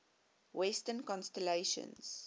western constellations